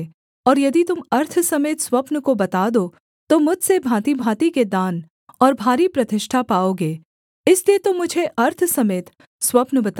और यदि तुम अर्थ समेत स्वप्न को बता दो तो मुझसे भाँतिभाँति के दान और भारी प्रतिष्ठा पाओगे इसलिए तुम मुझे अर्थ समेत स्वप्न बताओ